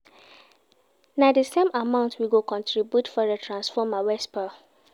Na di same amount we go contribute for di transformer wey spoil.